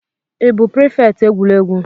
Ị bụ prịfèkt egwuregwu?